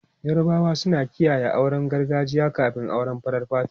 Yarabawa suna kiyaye auren gargajiya kafin auren farar fata.